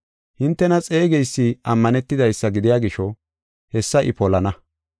Hintena xeegeysi ammanetidaysa gidiya gisho, hessa I polana.